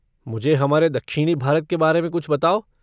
मुझे हमारे दक्षिणी भारत के बारे में कुछ बताओ।